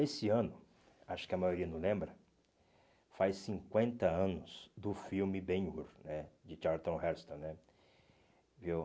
Esse ano, acho que a maioria não lembra, faz cinquenta anos do filme Ben-Hur né, de Charlton Heston né. Viu